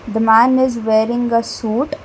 The man is wearing a suit.